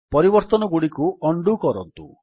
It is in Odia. ପରିବର୍ତ୍ତନଗୁଡ଼ିକୁ ଉଣ୍ଡୋ କରନ୍ତୁ